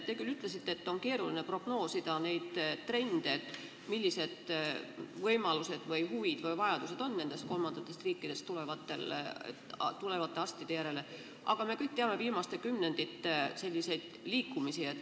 Te küll ütlesite, et on keeruline prognoosida trendi, millised vajadused nendest kolmandatest riikidest tulevate arstide järele meil võiksid tekkida, aga me kõik teame viimaste kümnendite liikumisi.